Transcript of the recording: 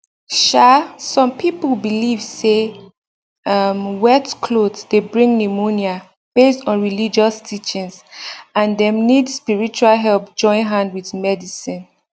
um some people believe say um wet cloth dey bring pneumonia based on religious teachings and dem need spiritual help join hand with medicine